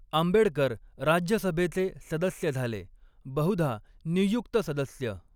आंबेडकर राज्यसभेचे सदस्य झाले, बहुधा नियुक्त सदस्य.